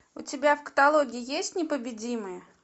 у тебя в каталоге есть непобедимые